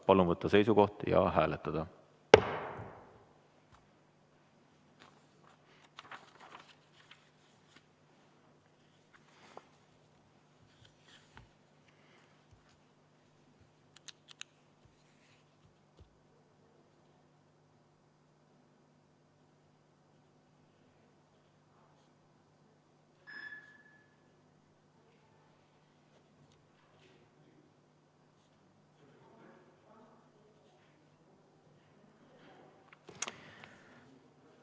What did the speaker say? Palun võtta seisukoht ja hääletada!